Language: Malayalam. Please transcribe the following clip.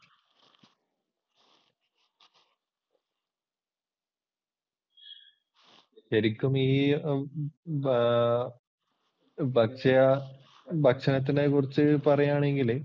ശരിക്കും ഈ ഭക്ഷണത്തിനെ കുറിച്ച് പറയുവാണെങ്കില്